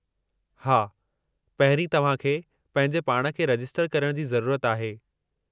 हा, पहिरीं तव्हां खे पंहिंजे पाण खे रजिस्टर करण जी ज़रूरत आहे।